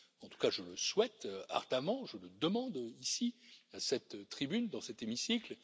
En tout cas, je le souhaite ardemment, je le demande ici à cette tribune, dans cet hémicycle.